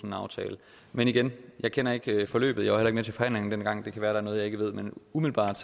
en aftale men igen jeg kender ikke forløbet jeg med til forhandlingerne dengang det kan være at der er noget jeg ikke ved men umiddelbart